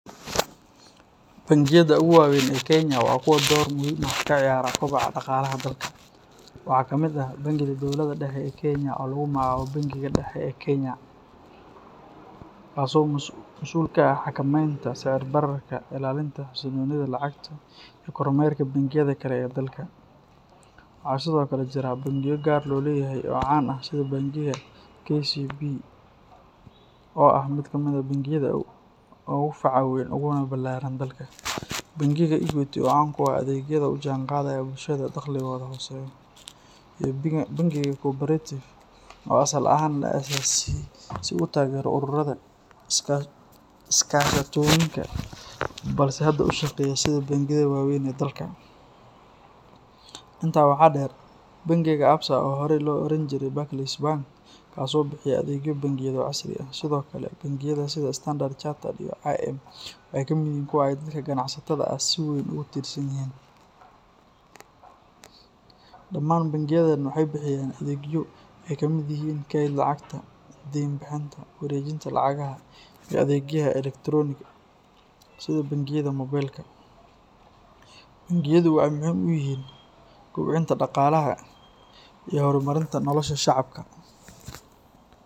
Bangiyada ugu waaweyn ee Kenya waa kuwo door muhiim ah ka ciyaara kobaca dhaqaalaha dalka. Waxaa kamid ah bangiga dowladda dhexe ee Kenya oo lagu magacaabo Bangiga Dhexe ee Kenya, kaas oo masuul ka ah xakameynta sicir bararka, ilaalinta xasilloonida lacagta, iyo kormeerka bangiyada kale ee dalka. Waxaa sidoo kale jira bangiyo gaar loo leeyahay oo caan ah sida Bangiga KCB oo ah mid kamid ah bangiyada ugu faca weyn uguna ballaaran dalka, Bangiga Equity oo caan ku ah adeegyada la jaanqaadaya bulshada dakhligoodu hooseeyo, iyo Bangiga Co-operative oo asal ahaan la aasaasay si uu u taageero ururada iskaashatooyinka balse hadda u shaqeeya sida bangiyada waaweyn ee dalka. Intaa waxaa dheer Bangiga Absa oo horey loo oran jiray Barclays Bank, kaas oo bixiya adeegyo bangiyeed oo casri ah. Sidoo kale, bangiyada sida Standard Chartered iyo I&M waxay kamid yihiin kuwa ay dadka ganacsatada ah si weyn ugu tiirsan yihiin. Dhammaan bangiyadan waxay bixiyaan adeegyo ay kamid yihiin kaydka lacagta, deyn bixinta, wareejinta lacagaha, iyo adeegyada elektarooniga ah sida bangiyada moobilka. Bangiyadu waxay muhiim u yihiin kobcinta dhaqaalaha iyo horumarinta nolosha shacabka.